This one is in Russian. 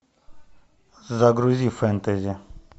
загрузи фэнтези